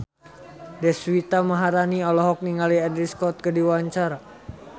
Deswita Maharani olohok ningali Andrew Scott keur diwawancara